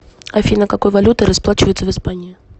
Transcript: афина какой валютой расплачиваются в испании